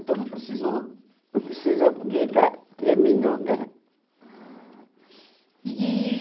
Então não precisou... Não precisou porque terminou, né? Ah e e